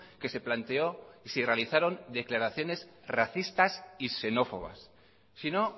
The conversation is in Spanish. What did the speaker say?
que se planteó y se realizaron declaraciones racistas y xenófobas si no